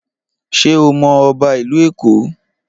Ṣé o mọ ọba ìlú Èkó?